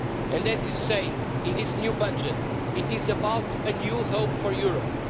And as you say in this new budget, it is about a new hope for Europe.